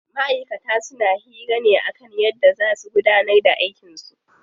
Ma'aikata suna hira ne kan yadda zaa su gudanar da aikin su.